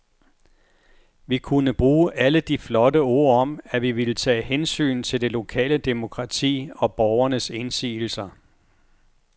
Vi kunne bruge alle de flotte ord om, at vi ville tage hensyn til det lokale demokrati og borgernes indsigelser.